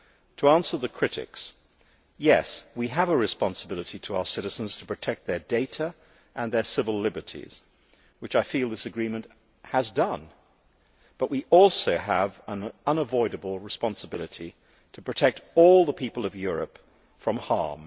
To answer the critics, yes, we have a responsibility to our citizens to protect their data and their civil liberties, which I feel this agreement has done, but we also have an unavoidable responsibility to protect all the people of Europe from harm.